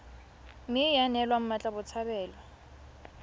mme ya neelwa mmatla botshabelo